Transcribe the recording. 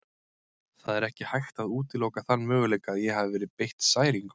Það er ekki hægt að útiloka þann möguleika að ég hafi verið beitt særingum.